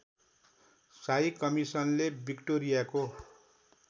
शाही कमिसनले विक्टोरियाको